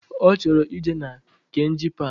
Ọchọrọ ije na Kainji park